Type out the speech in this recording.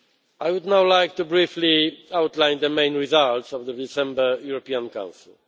I would now like to briefly outline the main results of the December European Council.